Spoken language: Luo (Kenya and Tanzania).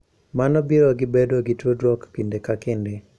Mano biro gi bedo gi tudruok kinde ka kinde.